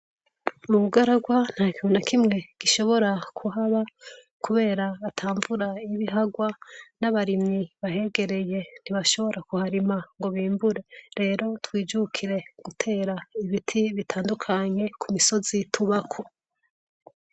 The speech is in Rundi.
Mu bugaragwa nta kibona kimwe gishobora kuhaba, kubera atamvura ibihagwa n'abarimyi bahegereye ntibashobora kuharima ngo bimbure rero twijukire gutera ibiti bitandukanye ku misozi tubako.